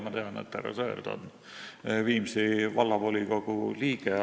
Ma tean, et härra Sõerd on Viimsi Vallavolikogu liige.